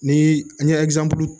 Ni n ye